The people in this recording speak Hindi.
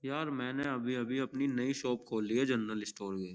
यार मैंने अभी-अभी अपनी नई शॉप खोली है जनरल स्टोर की।